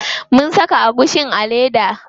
Mun saka agushin a leda.